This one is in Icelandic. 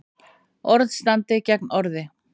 Orð standi gegn orði